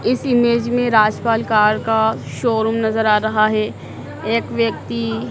इस इमेज में राजपाल कार का शोरूम नजर आ रहा है। एक व्यक्ति--